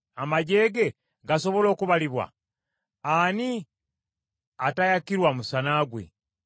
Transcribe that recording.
Amaggye ge gasobola okubalibwa? Ani atayakirwa musana gwe?